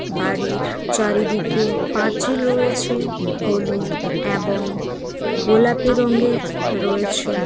বাড়ির চারিদিকেপাঁচিল রয়েছে হলুদ এবং গোলাপি রঙের রয়েছে